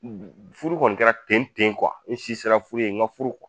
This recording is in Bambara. Mu furu kɔni kɛra ten ten n si sera furu ye n ka furu